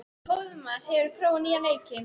Hróðmar, hefur þú prófað nýja leikinn?